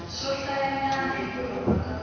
swohlayanyana ni ku rhomba ka